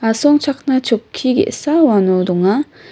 asongchakna chokki ge·sa uano donga.